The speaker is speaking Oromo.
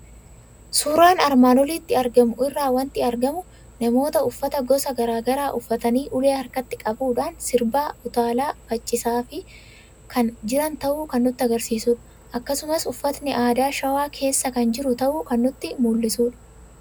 Suuraa armaan olitti argamu irraa waanti argamu; Namoota uffata gosa garaagaraa uffatanii ulee harkatti qabadhuun sirbaa, utaalaa, faccisaa, kan jiran ta'uu kan nutti agarsiisudha. Akkasumas uffatni aadaa showaa keessa kan jiru ta'uu kan nutti mul'isudha.